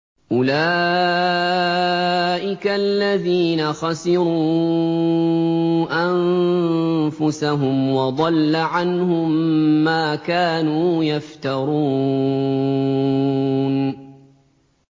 أُولَٰئِكَ الَّذِينَ خَسِرُوا أَنفُسَهُمْ وَضَلَّ عَنْهُم مَّا كَانُوا يَفْتَرُونَ